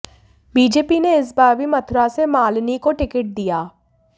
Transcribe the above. BJP ने इस बार भी मथुरा से मालिनी को टिकट दिया